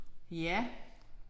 Ja